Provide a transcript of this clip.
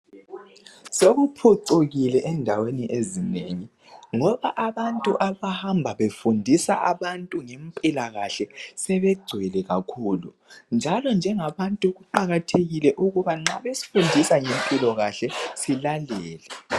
Sokuphucukile endaweni ezinengi ngoba abantu abahamba befundisa abantu ngempilakahle sebegcwele kakhulu njalo njengabantu kuqakathekile ukuba nxa besifundisa ngempilokahle silalele